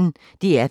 DR P1